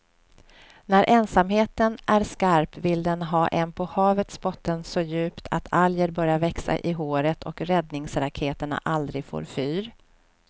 När ensamheten är skarp vill den ha en på havets botten så djupt att alger börjar växa i håret och räddningsraketerna aldrig får fyr.